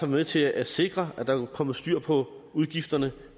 med til at sikre at der er kommet styr på udgifterne